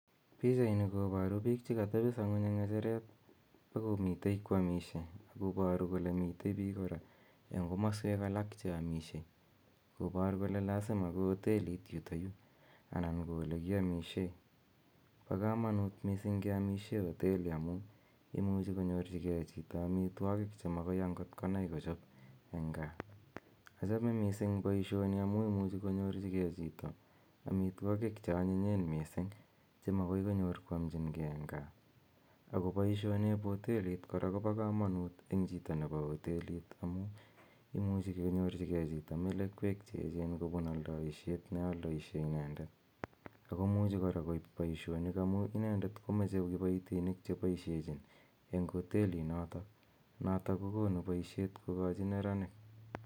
Pichaini koporu biik chekatepiso ng'uny eng ng'echeret akomite kwomisie akoporu kole mite biik kora eng komaswek alak cheamisie lopor kole lazima ko hotelit yutoyu anan ko olekiamisie. Po komonut mising keamishe hoteli amu imuchi chito konyorchikei amitwokik chemakoi ankot konai kochop eng gaa. Achame mising poishoni amu imuchi konyorchikei chito amitwokik cheonyinyen mising chemakoinyor kwomchinkei eng gaa ako poishonep hotelit kora kopo komonut eng chito nepo hotelit amu imuchi kenyorchikei chito melekwek cheechen kopun aldoishet nealdoishe inendet akomuchi kora koip poishonik amu inendet komeche kipoitinik chepoishechin eng hotelinotok, notok kokonu poishet kokochi neranik.